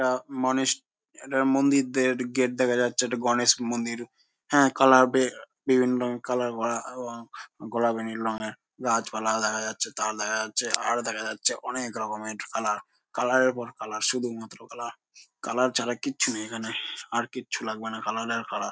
একটা মানুষ একটা মন্দির দের গেট দেখা যাচ্ছে একটা গণেশ মন্দির। হে কালার বে বিভিন্ন রঙ কালার ভরা ওবং গোলাবী নীল রঙ্গের। গাছ পালা দেখা যাচ্ছে তার দেখা যাচ্ছে আর দেখা যাচ্ছে অনেক রকমের কালার । কালার এর পর কালার । শুধু মাত্র কালার । কালার ছাড়া এর কিচ্ছু নেই এই খানে। আর কিছু লাগবে না । কালার এর কালার ।